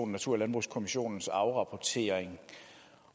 natur og landbrugskommissionens afrapportering